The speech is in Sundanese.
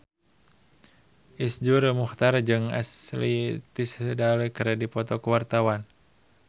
Iszur Muchtar jeung Ashley Tisdale keur dipoto ku wartawan